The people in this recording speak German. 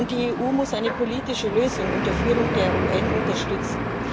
Die EU muss eine politische Lösung unter Führung der UN unterstützen.